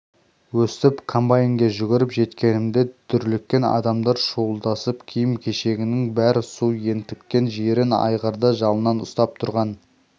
өстіп комбайнге жүгіріп жеткенімде дүрліккен адамдар шуылдасып киім-кешегінің бәрі су ентіккен жирен айғырды жалынан ұстап тұрған біреуді қоршап